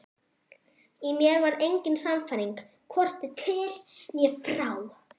Í mér var engin sannfæring, hvorki til né frá.